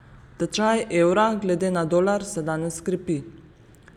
Tečaj evra glede na dolar se danes krepi.